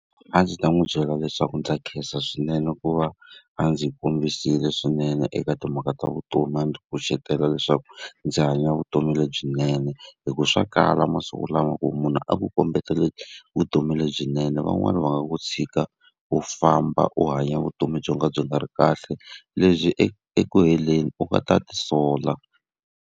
A ndzi ta n'wi byela leswaku ndza khensa swinene ku va a ndzi kombisile swinene eka timhaka ta vutomi, a ndzi kucetela leswaku ndzi hanya vutomi lebyinene hikuva swa kala masiku lawa lama ku munhu a ku kombeta vutomi lebyinene, van'wani va nga ku tshika u famba u hanya vutomi byo ka byi nga ri kahle, lebyi eku heleni u nga ta ti sola.